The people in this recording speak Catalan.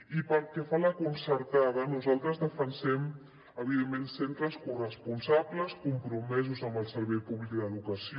i pel que fa a la concertada nosaltres defensem evidentment centres corresponsables compromesos amb el servei públic d’educació